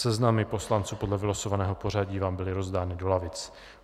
Seznamy poslanců podle vylosovaného pořadí vám byly rozdány do lavic.